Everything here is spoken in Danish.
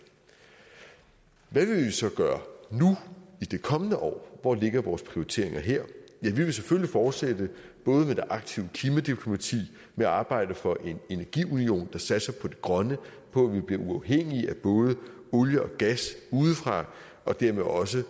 hvad vil vi så gøre nu i det kommende år hvor ligger vores prioriteringer her ja vi vil selvfølgelig fortsætte både med det aktive klimadiplomati og med arbejdet for en energiunion der satser på det grønne og på at vi bliver uafhængige af både olie og gas udefra og dermed også